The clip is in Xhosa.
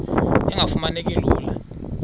engafuma neki lula